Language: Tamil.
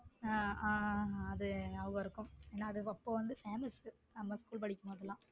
ஹம் ஹம் அது ஞாபகம் இருக்கும் அப்போ வந்த .